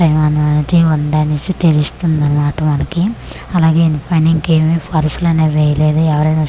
వద్దు అనేసి తెలుస్తుందనమాట మనకి అలాగే ఇంకెవేవి పర్సులు అనేవి వేయలేదు ఎవరైనా వస్తే.